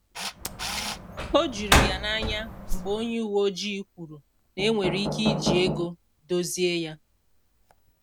O juru ya anya mgbe onye uwe ojii kwuru na enwere ike iji ego dozie ya